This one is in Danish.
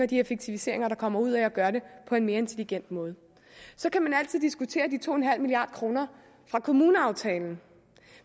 de effektiviseringer der kommer ud af at gøre det på en mere intelligent måde så kan man altid diskutere de to milliard kroner fra kommuneaftalen